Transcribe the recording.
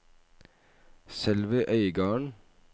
Sølvi Øygarden